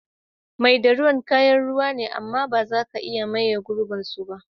Mai da ruwa kayan ruwa ne, amm ba za ka iya maye girbin su ba.